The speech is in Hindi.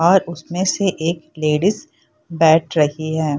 और उसमे से एक लेडिस बैठ रही है।